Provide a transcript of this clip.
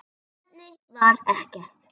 Tilefni var ekkert.